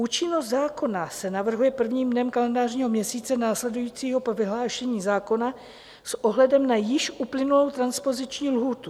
Účinnost zákona se navrhuje prvním dnem kalendářního měsíce následujícího po vyhlášení zákona s ohledem na již uplynulou transpoziční lhůtu.